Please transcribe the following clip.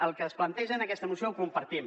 el que es planteja en aquesta moció ho compartim